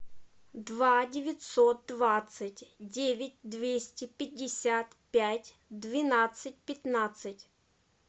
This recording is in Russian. два девятьсот двадцать девять двести пятьдесят пять двенадцать пятнадцать